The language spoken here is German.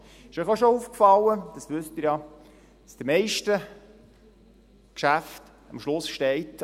Ist Ihnen auch schon aufgefallen – Sie wissen es ja –, dass bei den meisten Geschäften am Schluss steht: